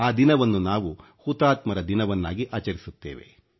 ಆ ದಿನವನ್ನು ನಾವು ಹುತಾತ್ಮರ ದಿವಸವನ್ನಾಗಿ ಆಚರಿಸುತ್ತೇವೆ